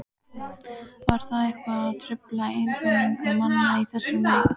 Var það eitthvað að trufla einbeitingu manna í þessum leik?